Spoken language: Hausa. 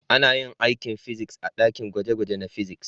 Ana yin aikin fiziks a dakin gwaje-gwaje na fiziks.